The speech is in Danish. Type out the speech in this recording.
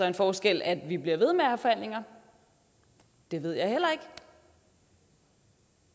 en forskel at vi bliver ved med at have forhandlinger det ved jeg heller ikke